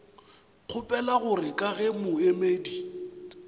kgopela gore ka ge moemedi